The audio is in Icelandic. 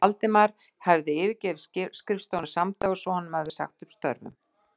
Valdimar hefði yfirgefið skrifstofuna samdægurs og honum hafði verið sagt upp störfum.